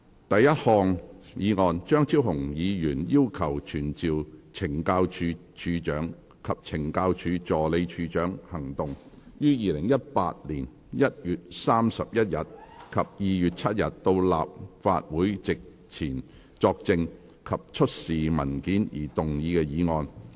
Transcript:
第一項議案：張超雄議員要求傳召懲教署署長及懲教署助理署長於2018年1月31日及2月7日到立法會席前作證及出示文件而動議的議案。